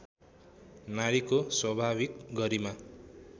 नारीको स्वाभाविक गरिमा